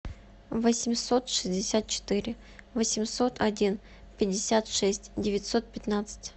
восемьсот шестьдесят четыре восемьсот один пятьдесят шесть девятьсот пятнадцать